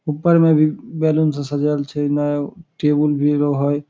ऊपर में भी बैलून से सजाएल छै इने टेबुल भी रहे